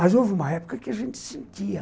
Mas houve uma época que a gente sentia.